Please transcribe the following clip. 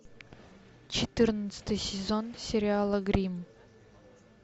четырнадцатый сезон сериала гримм